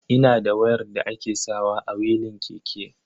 Ina da wayar da ake sawa a wilin keke.